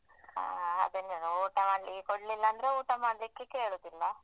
ಅಹ್ ಅದ್ದನೇ ಊಟ ಮಾಡ್ಲಿಕ್ಕೆ ಕೋಡ್ಲಿಲ್ಲಾಂದ್ರೆ ಊಟ ಮಾಡ್ಲಿಕ್ ಕೇಳುದಿಲ್ಲ.